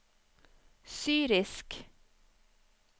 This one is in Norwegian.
syrisk